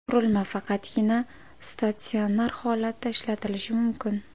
Qurilma faqatgina statsionar holatda ishlatilishi mumkin.